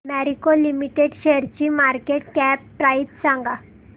Marico limited शेअरची market cap price सांगा